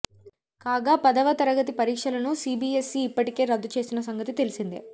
కాగా పదవ తరగతి పరీక్షలను సీబీఎస్ఈ ఇప్పటికే రద్దు చేసిన సంగతి తెలిసిందే